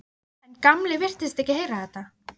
En Gamli virtist ekki heyra þetta.